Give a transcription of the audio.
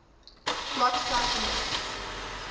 block cipher modes